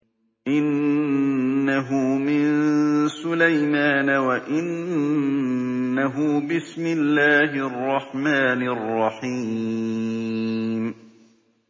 إِنَّهُ مِن سُلَيْمَانَ وَإِنَّهُ بِسْمِ اللَّهِ الرَّحْمَٰنِ الرَّحِيمِ